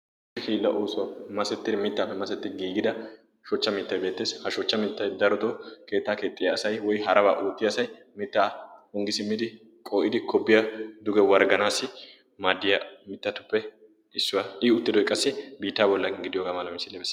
hiila oosuwaa masettidi mittaappe masettidi giigida shochcha mittai beettees. ha shochcha mittai darodo keettaa keexxiya asai woi harabaa oottia asai mittaa unggi simmidi qoo7idi kobbiyaa duge wargganaassi maaddiyaa mittatuppe issuwaa i uttidoi qassi biittaa bollaan gidiyoogaa mala misiiliya.